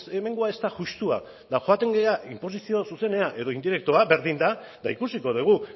hemengoa ez da justua eta joaten gara inposizio zuzenera edo indirektoa berdin da eta ikusiko dugu